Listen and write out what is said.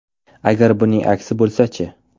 Agar buning aksi bo‘lsa-chi?